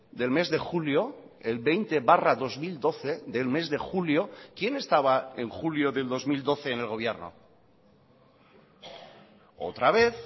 del mes de julio el veinte barra dos mil doce del mes de julio quién estaba en julio del dos mil doce en el gobierno otra vez